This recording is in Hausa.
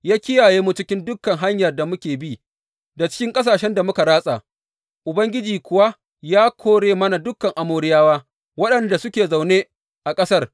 Ya kiyaye mu cikin dukan hanyar da muka bi, da cikin ƙasashen da muka ratsa; Ubangiji kuwa ya kore mana dukan Amoriyawa, waɗanda suke zaune a ƙasar.